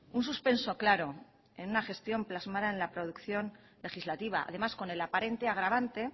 un suspenso claro en una gestión plasmada en la producción legislativa además con el aparente agravante